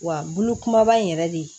Wa bolo kumaba in yɛrɛ de